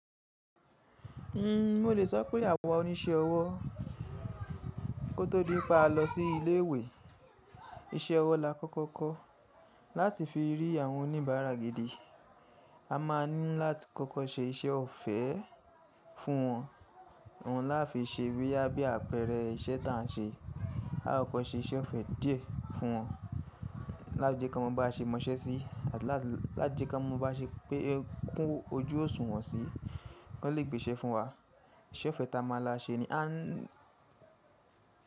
Mo le sọ pé àwa oníṣẹ́ ọwọ́ kó tó di pé a lọ sí ilé ìwé, iṣẹ́ ọwọ́ la kọ́kọ́ kọ́ láti fi rí àwọn oníbàárà gidi. A máa ní láti kọ́kọ́ ṣe iṣẹ́ ọ̀fẹ́ fún wọn, ohun láa fi ṣe boya bí àpẹẹrẹ iṣẹ́ ta n ṣe. Akokọ́ ṣe iṣẹ́ ọ̀fẹ́ díẹ̀ fún wọn, láti jẹki won mọ ba ṣé mọṣẹ́ sí, láti jẹkanmọ ba ṣé pé kún ojú òṣùwọ̀n sí, kí wọn lè gbé iṣẹ́ fún wa. Iṣẹ́ ọ̀fẹ́ ta máa la ṣe ni a n.